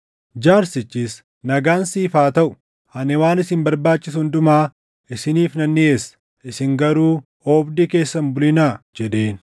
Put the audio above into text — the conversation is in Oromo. Jaarsichis, “Nagaan siif haa taʼu; ani waan isin barbaachisu hundumaa isiniif nan dhiʼeessa; isin garuu oobdii keessa hin bulinaa” jedheen.